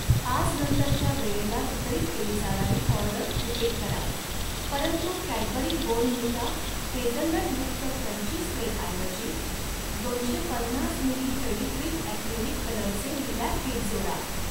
आज नंतरच्या वेळेला वितरित केली जाणारी ऑर्डर रिपीट करा परंतु कॅडबरी बॉर्नव्हिटा हेझलनटयुक्त क्रंची स्प्रेडऐवजी दोनशे पन्नास मिली फेविक्रिल ऍक्रेलिक कलरचे लिलॅक किट जोडा.